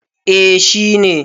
eh shi ne